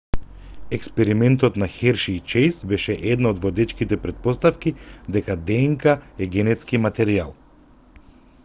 експериментот на херши и чејс беше една од водечките претпоставки дека днк е генетски материјал